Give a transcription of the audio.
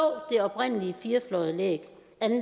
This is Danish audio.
det oprindelige firefløjede anlæg